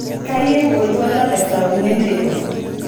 kayieu oltwala le saa uni enteipa